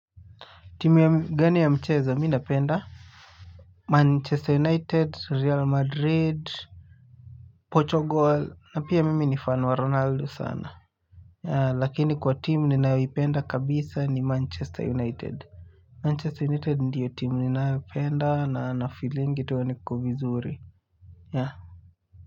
Timu gani ya mchezo mi napenda? Manchester United, Real Madrid, Portugal, na pia mimi ni fan wa Ronaldo sana. Lakini kwa timu ninayoipenda kabisa ni Manchester United. Manchester United ndio timu ninayopenda na nafeelingi ndio niko vizuri.